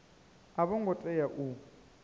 a vho ngo tea u